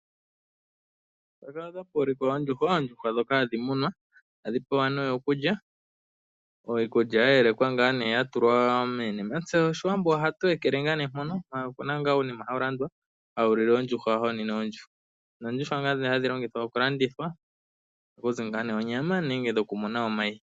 Oondjukwa ndhoka hadhi munwa. Ohadhi pewa okulya. Iikulya ohayi yelekwa ya tulwa muunima, ihe Aawambo ngele taye dhi pe ohaya ekele ngaa nee mpoka, ihe opu na ngaa uunima hawu landwa hawu lile oondjuhwa wo ohawu nwine oondjuhwa. Oondjuhwa ndhoka hadhi landithwa ohaku zi onyama nenge omayi.